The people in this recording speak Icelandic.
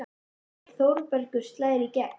Þangað til Þórbergur slær í gegn.